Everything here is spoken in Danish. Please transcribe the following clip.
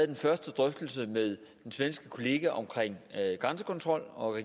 den første drøftelse med min svenske kollega om grænsekontrol og